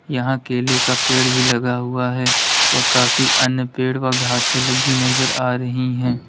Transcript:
यहां केले का पेड़ भी लगा हुआ है और काफी अन्य पेड़ व घासें लगी नजर आ रही है।